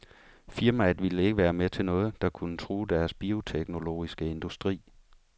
Firmaet ville ikke være med til noget, der kunne true deres bioteknologiske industri.